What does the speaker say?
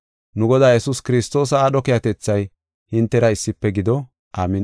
Nu Godaa Yesuus Kiristoosa aadho keehatethay hintera issife gido. Amin7i.